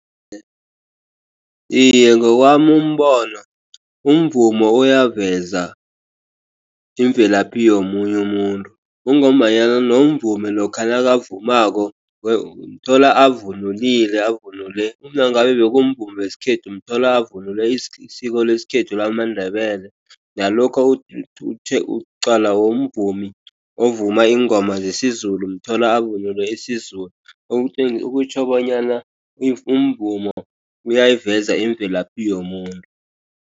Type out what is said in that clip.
Iye, ngowami umbono umvumo uyaveza imvelaphi omunye umuntu. Kungombanyana nomvumi lokha nabavumako umthola avunuli, avunule nangabe kumvumo wesikhethu umthola avunule isiko lesikhethu lamaNdebele. Nalokha uqala womvumi ovuma ingoma zesiZulu, umthola avunule isiZulu. Okutjho bonyana umvumo uyayiveza imvelaphi yomuntu.